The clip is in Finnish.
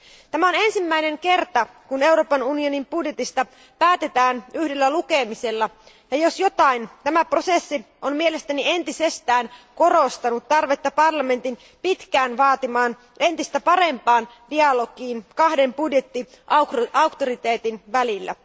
Tämä on ensimmäinen kerta, kun Euroopan unionin budjetista päätetään yhdessä käsittelyssä, ja jos jotain, niin tämä prosessi on mielestäni entisestään korostanut tarvetta parlamentin pitkään vaatimaan, entistä parempaan vuoropuheluun kahden budjettiauktoriteetin välillä.